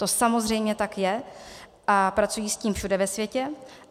To samozřejmě tak je a pracují s tím všude ve světě.